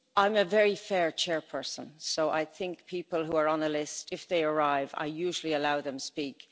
I am a very fair chairperson, so I think people who are on a list, if they arrive, I usually allow them speak.